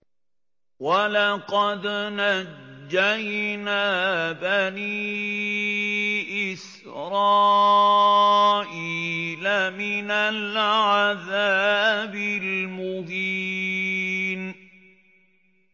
وَلَقَدْ نَجَّيْنَا بَنِي إِسْرَائِيلَ مِنَ الْعَذَابِ الْمُهِينِ